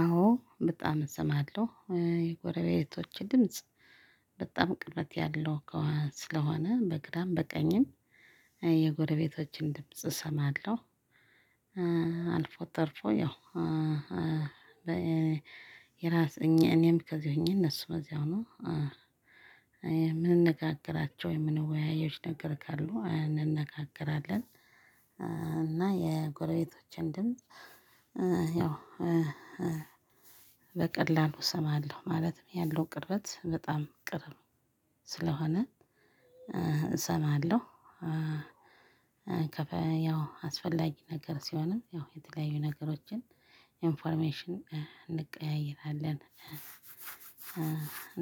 አዎ በጣም እሰማለሁ የጎረቤቶቼ ድምጽ በጣም ቅርበት ያለው ስለሆነ በግራም በቀኝም የጎረቤቶቼን ድምጽ እሰማለሁ። አልፎ ተርፎ ያው። የራስ እኔም ከዚህ ሆኜ እነሱ ከዚያው ሆነው። የምንነጋገራቸው የምንወያየው ነገር ካሉ እንነጋገራለን። እና የጎረቤቶችን ድምጽ። ያው በቀላሉ እሰማለሁ ማለትም ያለው ቅርበት በጣም ቅርብ ስለሆነ እሰማለሁ። ያው አስፈላጊ ነገር ሲሆንም ያው የተለያዩ ነገሮችን ኢንፎርሜሽን እንቀያይራለን።